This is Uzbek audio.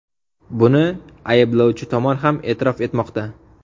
Buni ayblovchi tomon ham e’tirof etmoqda.